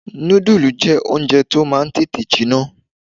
Noodles jẹ́ oúnjẹ tó máa ń tètè jiná